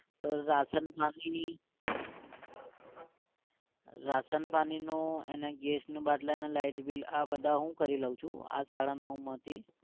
તો રાસન પાણીને એ? રાસન પાણીનું અને ગેસના બાટલા અને light bill આ બધા હું કરી લઉં છું આ સાડા નવ માથી